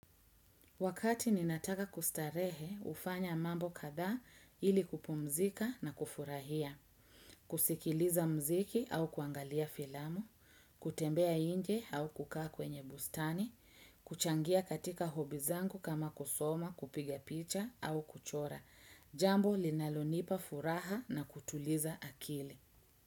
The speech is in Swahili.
Wakati ninataka kustarehe hufanya mambo kadha ili kupumzika na kufurahia, kusikiliza mziki au kuangalia filamu, kutembea inje au kukaa kwenye bustani, kuchangia katika hobi zangu kama kusoma, kupiga picha au kuchora, jambo linalonipa furaha na kutuliza akili.